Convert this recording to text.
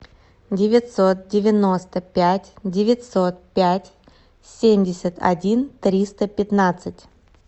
девятьсот девяносто пять девятьсот пять семьдесят один триста пятнадцать